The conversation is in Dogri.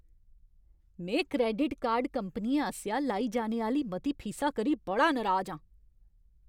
में क्रैडिट कार्ड कंपनियें आसेआ लाई जाने आह्‌ली मती फीसा करी बड़ा नराज आं।